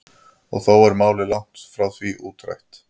Og þó er málið langt frá því útrætt.